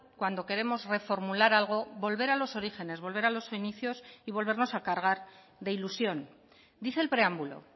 cuando queremos reformular algo volver a los orígenes volver a los inicios y volvernos a cargar de ilusión dice el preámbulo